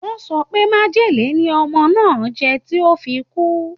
Wọ́n sọ pé májèlè ni ọmọ náà jẹ tó fi kú